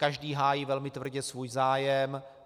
Každý hájí velmi tvrdě svůj zájem.